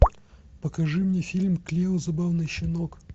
покажи мне фильм клео забавный щенок